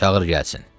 Çağır gəlsin.